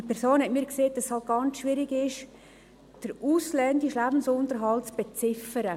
Diese Person hat mir gesagt, dass es ganz schwierig sei, den ausländischen Lebensunterhalt zu beziffern.